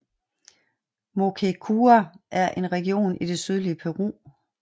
Moquegua er en region i det sydlige Peru